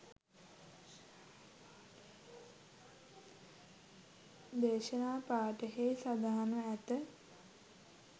දේශනා පාඨයෙහි සඳහන්ව ඇත.